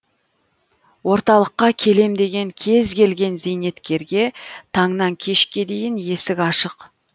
орталыққа келем деген кез келген зейнеткерге таңнан кешке дейін есік ашық